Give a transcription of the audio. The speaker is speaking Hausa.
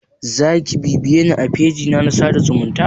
Zaki bibiyeni a fejina na sada zumunta?